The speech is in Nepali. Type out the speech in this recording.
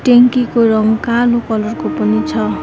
ट्यांकी को रङ कालो कलर को पनि छ।